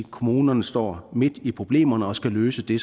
kommunerne står midt i problemerne og skal løse de